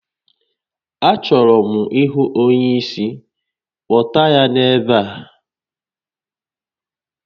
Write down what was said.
A chọrọ m ịhụ onye isi, kpọta ya n'ebe a!